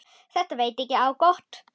Þetta veit ekki á gott.